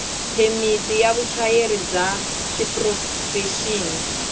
phemiti ya vuchayeri bya xiprofexini